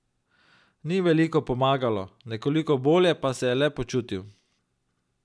Ni veliko pomagalo, nekoliko bolje pa se je le počutil.